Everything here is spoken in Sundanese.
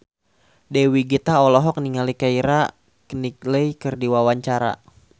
Dewi Gita olohok ningali Keira Knightley keur diwawancara